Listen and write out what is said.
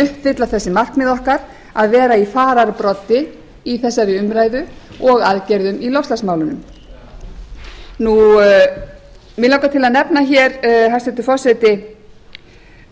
uppfylla þessi markmið okkar að vera í fararbroddi í þessari umræðu og aðgerðum í loftslagsmálunum mig langar til að nefna hér hæstvirtur forseti